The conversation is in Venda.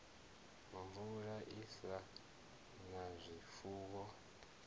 mvula i sa na zwifuwo